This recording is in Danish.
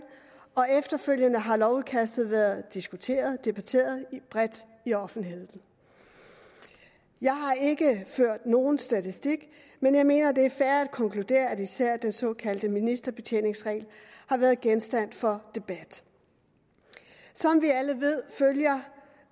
og efterfølgende har lovudkastet været diskuteret debatteret bredt i offentligheden jeg har ikke ført nogen statistik men jeg mener det er fair at konkludere at især den såkaldte ministerbetjeningsregel har været genstand for debat som vi alle ved følger